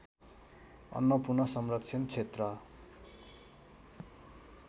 अन्नपूर्ण संरक्षण क्षेत्र